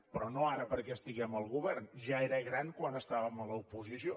però no ara perquè estiguem al govern ja era gran quan estàvem a l’oposició